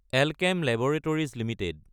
Alkem laboratories Ltd